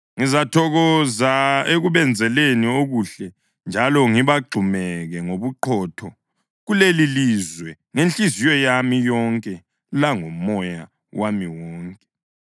Ngizathokoza ekubenzeleni okuhle njalo ngibagxumeke ngobuqotho kulelilizwe ngenhliziyo yami yonke langomoya wami wonke.